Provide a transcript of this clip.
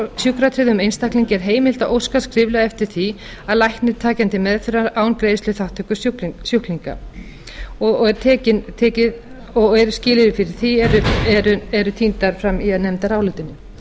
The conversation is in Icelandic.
að sjúkratryggðum einstaklingi er heimilt að óska skriflega eftir því að læknir taki hann til meðferðar án greiðsluþátttöku sjúklinga og skilyrði fyrir því eru tíndar fram í nefndarálitinu